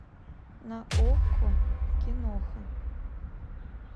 на окко киноха